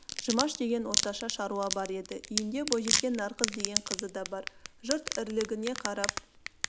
жұмаш деген орташа шаруа бар еді үйінде бойжеткен нарқыз деген қызы да бар жұрт ірілігіне қарап